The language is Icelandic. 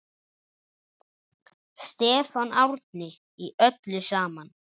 Stefán Árni: Í öllu saman?